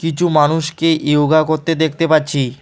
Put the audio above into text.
কিছু মানুষকে ইয়োগা করতে দেখতে পাচ্ছি।